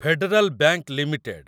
federal bank limited